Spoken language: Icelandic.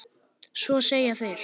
Svo segja þeir.